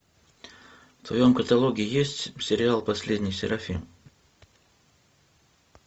в твоем каталоге есть сериал последний серафим